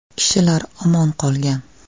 Kishilar omon qolgan.